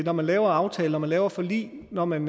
når man laver aftaler når man laver forlig når man